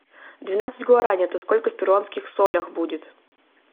двенадцать гуарани это сколько в перуанских солях будет